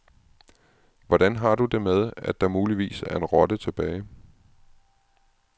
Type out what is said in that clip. Hvordan har du det med, at der muligvis er en rotte tilbage?